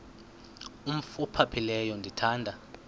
umf ophaphileyo ndithanda